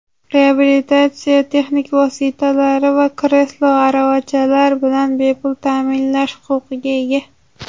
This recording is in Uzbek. reabilitatsiya texnik vositalari va kreslo-aravachalar bilan bepul taʼminlanish huquqiga ega:.